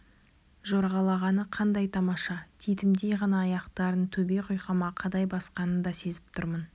жорғалағаны қандай тамаша титімдей ғана аяқтарын төбе құйқама қадай басқанын да сезіп тұрмын